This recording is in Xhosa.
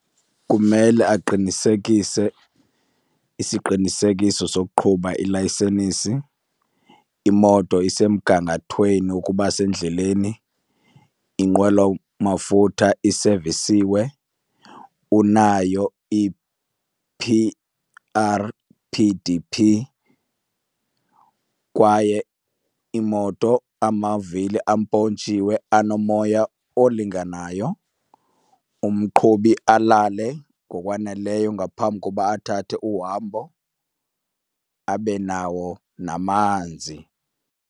Kumele aqinisekise isiqinisekiso sokuqhuba, ilayisenisi, imoto isemgangathweni ukuba sendleleni, inqwelomafutha isevisiwe, unayo i-P R P D P kwaye imoto amavili ampontshiwe, anomoya olinganayo. Umqhubi alale ngokwaneleyo ngaphambi koba athathe uhambo, abe nawo namanzi.